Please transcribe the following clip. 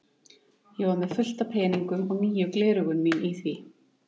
Ég var með fullt af peningum og nýju gleraugun mín í því.